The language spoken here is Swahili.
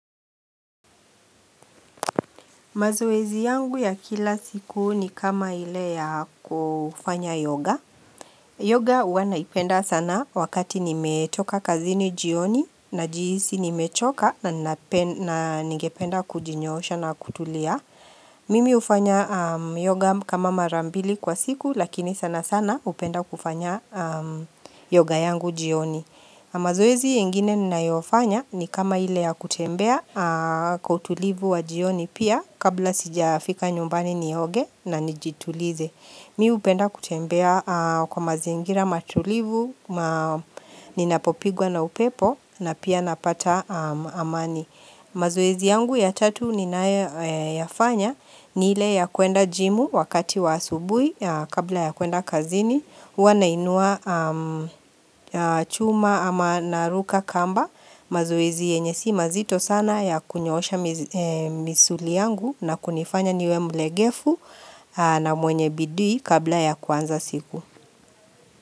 Mazoezi yangu ya kila siku ni kama ile ya kufanya yoga. Yoga huwa naipenda sana wakati nimetoka kazini jioni na jihisi nimechoka na ningependa kujinyoosha na kutulia. Mimi ufanya yoga kama marambili kwa siku lakini sana sana upenda kufanya yoga yangu jioni. Mazoezi ingine ninaiofanya ni kama ile ya kutembea kwa utulivu wa jioni pia kabla sija fika nyumbani nioge na nijitulize Mimi hupenda kutembea kwa mazingira matulivu, ninapopigwa na upepo na pia napata amani mazoezi yangu ya tatu ninayoyafanya ni ile ya kuenda jimu wakati wa asubuhi kabla ya kuenda kazini Huwa nainua chuma ama naruka kamba mazoezi yenye si mazito sana ya kunyoosha misuli yangu na kunifanya niwe mlegefu na mwenye bidii kabla ya kwanza siku.